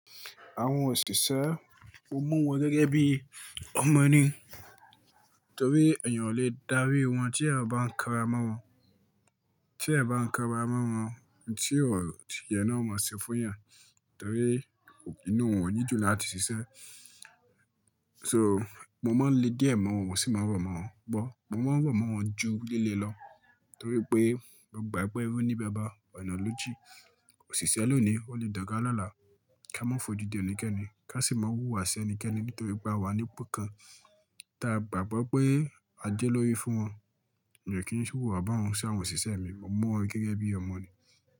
Àwọn òṣìṣẹ́, mo mu wọ́n gẹ́gẹ́ bí ọmọ ní. Torí èèyàn ò lè dárí wọn tí èèyàn bá ń kanra mọ́ wọn, tí èèyàn bá ń kanra mọ́ wọn, ohun tí o yẹ ni wọn o máa ṣe fún yàn. Torí inú wọn o ní dùn láti ṣiṣẹ́. So mo máa ń le díẹ̀ mọ́ wọn, wọ́n sì máa ń rọ̀ mọ́ wọn gbó. Mo máa ń rọ̀ mọ́ wọn ju líle lọ torí pé mogbà pé ẹrú ní bàbá ọ̀nà lò jin. Òṣìṣẹ́ lónìí, ó lè doga lola ká má fojú di ẹnikẹ́ni, ká sì máa wúwà sí ẹnikẹ́ni nítorí pé a wà ní ipò kan tí a gbàgbọ́ pé a jẹ́ olórí fún wọn. Èmi ò kí n wuwà bahun ṣi àwọn òṣìṣẹ́ mi, mo mu wọ́n gẹ́gẹ́ bí ọmọ ni.